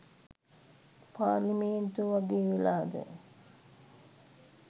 පාර්ලිමේන්තුව වගේ වෙලාද?